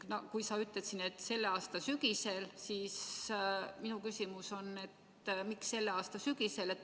Kui sa ütled, et selle aasta sügisel, siis minu küsimus on, miks selle aasta sügisel.